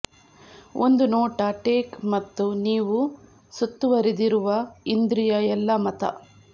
ಒಂದು ನೋಟ ಟೇಕ್ ಮತ್ತು ನೀವು ಸುತ್ತುವರಿದಿರುವ ಇಂದ್ರಿಯ ಎಲ್ಲಾ ಮತ